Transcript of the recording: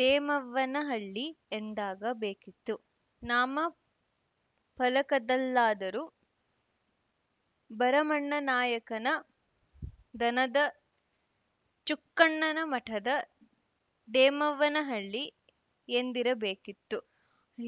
ದೇಮವ್ವನ ಹಳ್ಳಿ ಎಂದಾಗ ಬೇಕಿತ್ತು ನಾಮ ಫಲಕದಲ್ಲಾದರೂ ಭರಮಣ್ಣ ನಾಯಕನ ದನದ ಚುಕ್ಕಣ್ಣನ ಮಠದ ದೇಮವ್ವನ ಹಳ್ಳಿ ಎಂದಿರಬೇಕಿತ್ತು ಎ